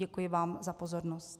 Děkuji vám za pozornost.